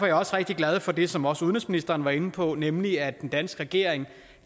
jeg også rigtig glad for det som også udenrigsministeren var inde på nemlig at den danske regering